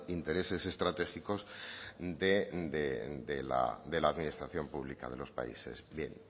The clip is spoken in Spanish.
intereses estratégicos de la administración pública de los países bien